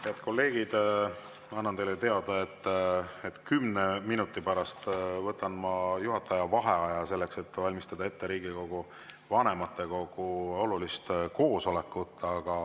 Head kolleegid, annan teile teada, et 10 minuti pärast võtan juhataja vaheaja selleks, et valmistada ette Riigikogu vanematekogu olulist koosolekut.